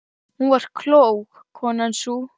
Hún var klók, konan sú.